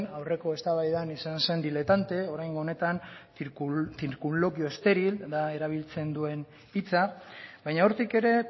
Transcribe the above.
aurreko eztabaidan izan zen diletante oraingo honetan circunloquio estéril da erabiltzen duen hitza baina hortik ere